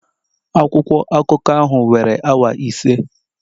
Akwụkwọ akụkọ ahụ were awa ise